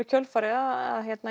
kjölfarið að